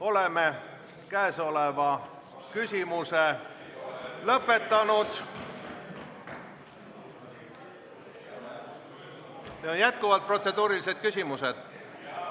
Oleme selle küsimusega lõpetanud ja jätkuvad protseduurilised küsimused.